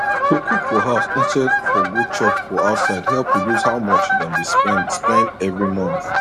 to cook for house instead for go chop for outside help reduce how much dem dey spend spend every month